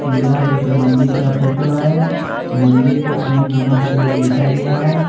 यह एक मंदिर का फोटो है मंदिर प ओम नमः शिवाय लिखा गया है।